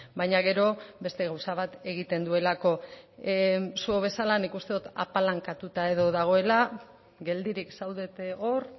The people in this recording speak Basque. baina gero beste gauza bat egiten duelako zuek bezala nik uste dut apalankatuta dagoela geldirik zaudete hor